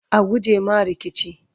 a guje ma rikici!